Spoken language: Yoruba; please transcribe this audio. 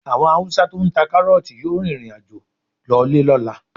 Àwọn Haúsá tó ń ta kárọ́ọ̀tì yóò rìnrìn àjò lọlé lọ́la.